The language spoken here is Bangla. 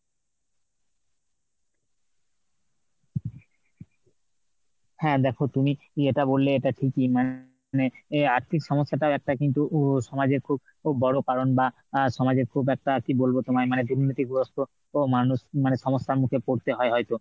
হ্যাঁ দেখো তুমি যেটা বললে এটা ঠিকই মানে আর্থিক সমস্যাটাও একটা কিন্তু উ সমাজে খুব বড় কারণ বা সমাজে খুব একটা কি বলবো তোমায় দুর্নীতিগ্রস্ত মানুষ মানে সমস্যার মধ্যে পড়তে হয় হয়তো।